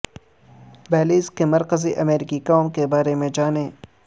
Belize کے مرکزی امریکی قوم کے بارے میں جانیں